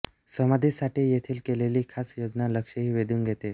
समाधीसाठी येथील केलेली खास योजना लक्षही वेधुन घेते